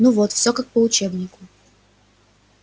ну вот всё как по учебнику